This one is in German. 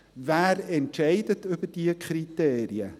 Wer entscheidet über diese Kriterien?